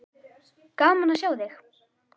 Gaman að sjá þig.